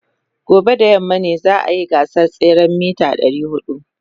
Gobe ​​da yamma ne za a yi gasar tseren mita 400.